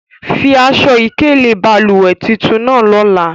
Fi aṣọ̀-ikele balùwẹ̀̀ titun nàà lọlà!